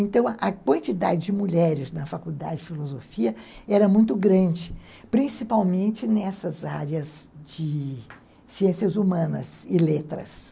Então, a quantidade de mulheres na faculdade de filosofia era muito grande, principalmente nessas áreas de ciências humanas e letras.